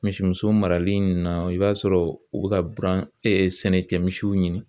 Misimuso marali ninnu na i b'a sɔrɔ u bɛ ka buran sɛnɛkɛmisiw ɲini